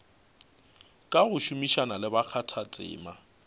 ka go šomišana le bakgathatema